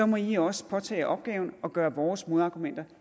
må i også påtage jer opgaven og gøre vores modargumenter